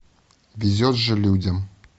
везет же людям